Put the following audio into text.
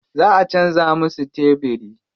Za a canza musu tebiri.